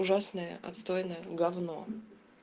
ужасная отстойная говно